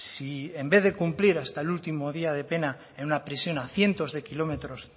si en vez de cumplir hasta el último día de pena en una prisión a cientos de kilómetros